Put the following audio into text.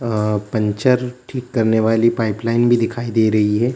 अ puncture ठीक करने वाली पाइपलाइन भी दिखाई दे रही है।